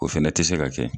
O fɛnɛ tɛ se ka kɛ